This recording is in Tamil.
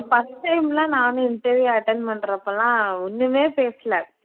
first time லாம் நானும் interview attend பண்ணுறப்போலாம் ஒன்னுமே பேசல